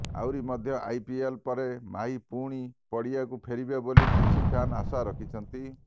ଆହୁରି ମଧ୍ୟ ଆଇପିଏଲ ପରେ ମାହି ପୁଣି ପଡିଆକୁ ଫେରିବେ ବୋଲି କିଛି ଫ୍ୟାନ୍ ଆଶା ରଖିଛନ୍ତି